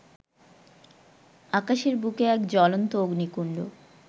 আকাশের বুকে এক জ্বলন্ত অগ্নিকুণ্ড